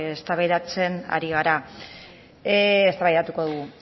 eztabaidatuko dugu